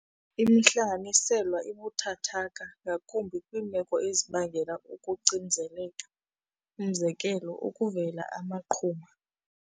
Imihlanganiselwa ibuthathaka ngakumbi kwiimeko ezibangela ukucinezeleka, umzekelo ukuvela amaqhuma.